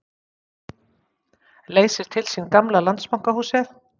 Leysir til sín gamla Landsbankahúsið